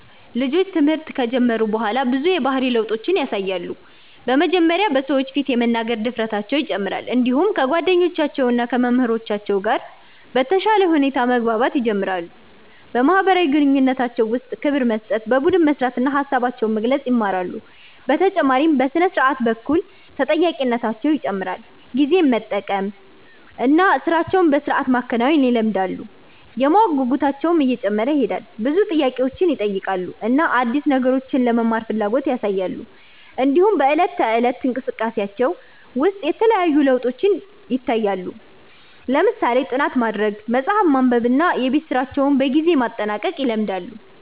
ልጆች ትምህርት ከጀመሩ በኋላ ብዙ የባህሪ ለውጦችን ያሳያሉ። በመጀመሪያ በሰዎች ፊት የመናገር ድፍረታቸው ይጨምራል፣ እንዲሁም ከጓደኞቻቸው እና ከመምህራኖቻቸው ጋር በተሻለ ሁኔታ መግባባት ይጀምራሉ። በማህበራዊ ግንኙነታቸው ውስጥ ክብር መስጠት፣ በቡድን መስራት እና ሀሳባቸውን መግለጽ ይማራሉ። በተጨማሪም በሥነ-ስርዓት በኩል ተጠያቂነታቸው ይጨምራል፣ ጊዜን መጠበቅ እና ሥራቸውን በሥርዓት ማከናወን ይለምዳሉ። የማወቅ ጉጉታቸውም እየጨመረ ይሄዳል፣ ብዙ ጥያቄዎችን ይጠይቃሉ እና አዲስ ነገሮችን ለመማር ፍላጎት ያሳያሉ። እንዲሁም በዕለት ተዕለት እንቅስቃሴያቸው ውስጥ የተለያዩ ለውጦች ይታያሉ፣ ለምሳሌ ጥናት ማድረግ፣ መጽሐፍ ማንበብ እና የቤት ስራቸውን በጊዜ ማጠናቀቅ ይለምዳሉ።